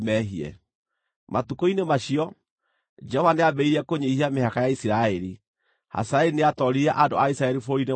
Matukũ-inĩ macio, Jehova nĩambĩrĩirie kũnyiihia mĩhaka ya Isiraeli. Hazaeli nĩatooririe andũ a Isiraeli bũrũri-inĩ wao wothe